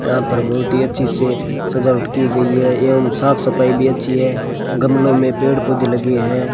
यहां पर बहुत ही अच्छी से सजावट की गई है एवं साफ सफाई भी अच्छी है गमले में पेड़ पौधे लगे हैं।